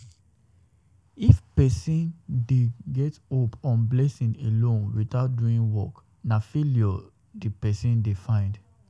If person dey get hope on blessing alone without doing work, na failure di person dey dey find